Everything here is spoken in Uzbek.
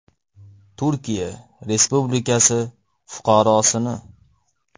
Turkiya respublikasi fuqarosini.